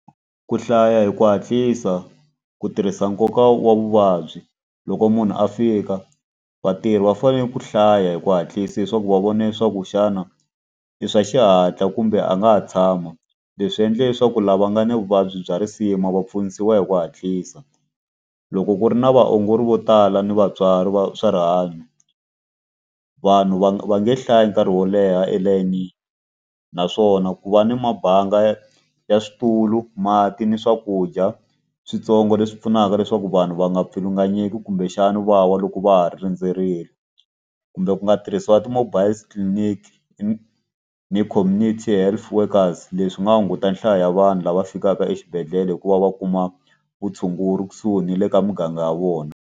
Ku hlaya hi ku hatlisa, ku tirhisa nkoka wa vuvabyi. Loko munhu a fika vatirhi va fanele ku hlaya hi ku hatlisa leswaku va vona leswaku xana i swa xihatla kumbe a nga ha tshama. Leswi endla leswaku lava nga ni vuvabyi bya risima va pfunisiwa hi ku hatlisa. Loko ku ri na vaongori vo tala ni vatswari va swa rihanyo, vanhu va va nge hlayi nkarhi wo leha elayinini. Naswona ku va ni mabanga ya switulu, mati, ni swakudya switsongo leswi pfunaka leswaku vanhu va nga pfulunganyeki, kumbexana va wa loko va ha rindzerile. Kumbe ku nga tirhisiwa ti-mobile clinic ni community health workers, leswi nga hunguta nhlayo ya vanhu lava fikaka exibedhlele hi ku va va kuma vutshunguri kusuhi ni le ka muganga ya vona.